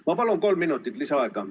Ma palun kolm minutit lisaaega!